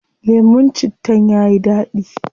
Lemun cittan yayi dadi